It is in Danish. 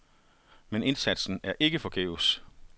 Men indsatsen er ikke forgæves.